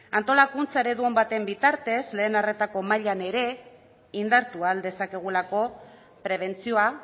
antolakuntza eredu on baten bitartez lehen arretako mailan ere indartu ahal dezakegulako prebentzioa